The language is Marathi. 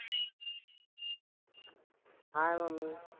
हाय मम्मी.